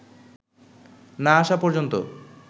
না আসা পর্যন্ত